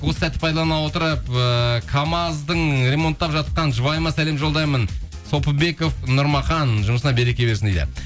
осы сәтті пайдалана отырып ыыы камаздың ремонттап жатқан жұбайыма сәлем жолдаймын сопыбеков нұрмахан жұмысына береке берсін дейді